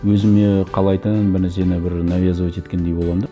өзіме қалайтын бір нәрсені бір навязывать еткендей боламын да